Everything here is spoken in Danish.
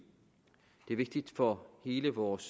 det er vigtigt for hele vores